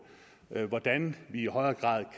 hvordan vi i højere grad